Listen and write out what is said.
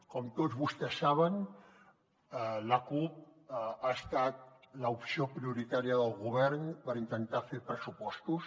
com tots vostès saben la cup ha estat l’opció prioritària del govern per intentar fer pressupostos